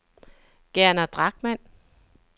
Gerner Drachmann